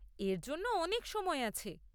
এর জন্য অনেক সময় আছে।